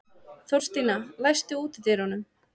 Þórstína, læstu útidyrunum.